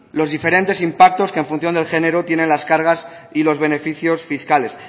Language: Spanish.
los diferentes impactos que en función del género tiene las cargas y los beneficios fiscales